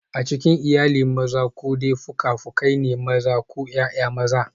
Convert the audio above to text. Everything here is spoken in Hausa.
A cikin iyali, maza ko dai fuka-fukai ne, maza ko ’ya’ya maza.